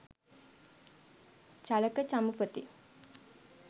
Chalaka Chamupathi